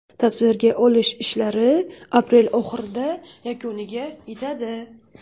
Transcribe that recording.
Tasvirga olish ishlari aprel oxirida yakuniga yetadi.